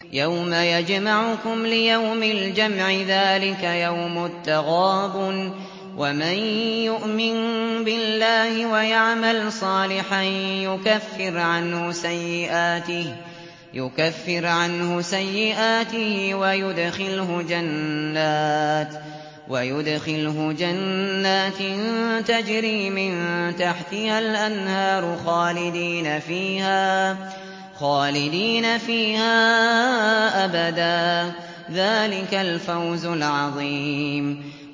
يَوْمَ يَجْمَعُكُمْ لِيَوْمِ الْجَمْعِ ۖ ذَٰلِكَ يَوْمُ التَّغَابُنِ ۗ وَمَن يُؤْمِن بِاللَّهِ وَيَعْمَلْ صَالِحًا يُكَفِّرْ عَنْهُ سَيِّئَاتِهِ وَيُدْخِلْهُ جَنَّاتٍ تَجْرِي مِن تَحْتِهَا الْأَنْهَارُ خَالِدِينَ فِيهَا أَبَدًا ۚ ذَٰلِكَ الْفَوْزُ الْعَظِيمُ